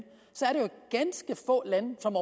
som